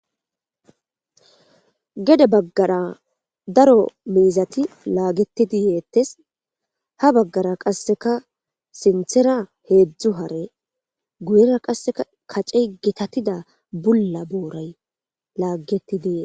Gede bagara daro miizati laagetidi yeetesi, ha bagara qaseka sinthera hezdzdu hare guyera qaseka kaceyi gitatida Bula boorayi laagetidi yeesi.